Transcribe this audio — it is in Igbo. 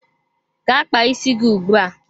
Gaa kpaa isi gị ugbu a!